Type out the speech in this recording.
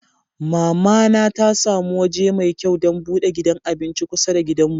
Mama na ta samu waje mai kyau dan bude gidan abinci kusa da gidan mu.